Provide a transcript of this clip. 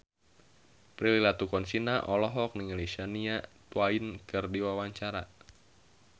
Prilly Latuconsina olohok ningali Shania Twain keur diwawancara